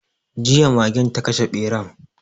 Jiya magen ta kashe beran